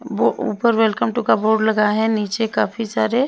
वो ऊपर welcome to का बोर्ड लगा है नीचे काफी सारे--